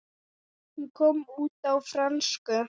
Hún kom út á frönsku